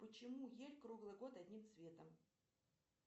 почему ель круглый год одним цветом